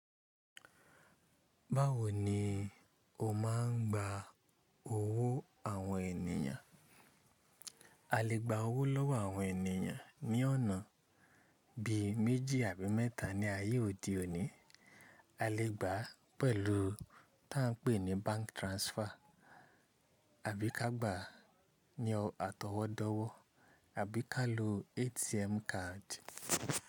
Báwo ni o máà ń gba owó àwọn ènìyàn? A lè gba owó lọ́wọ́ àwọn ènìyàn ní ọ̀nà bí i méjì àbí mẹ́ta ní ayé òde òní. A lè gbà á pẹ̀lú tí a ń pè ní bank transfer, àbí ká gbà á ní àtọwọ́dọ́wọ́, àbí ká lo ATM card.